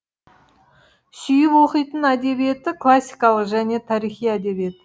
сүйіп оқитын әдебиеті классикалық және тарихи әдебиет